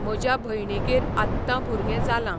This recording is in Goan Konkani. म्हज्या भयणीगेर आत्तां भुरगें जालां